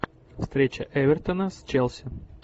встреча эвертона с челси